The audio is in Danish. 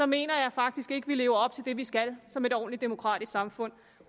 mener jeg faktisk ikke vi lever op til det vi skal som et ordentligt demokratisk samfund